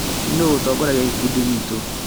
Nũ ũtongoria gĩkundi gitu?